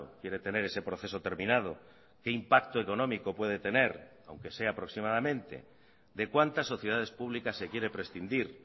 quiere tener ese proceso terminado qué impacto económico puede tener aunque sea aproximadamente de cuántas sociedades publicas se quiere prescindir